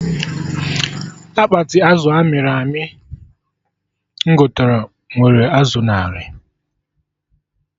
Akpati azụ amịrị amị m gote nwere azụ narị